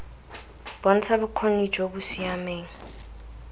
bontsha bokgoni jo bo siameng